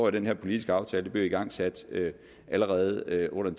i den her politiske aftale blev igangsat allerede under